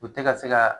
U tɛ ka se ka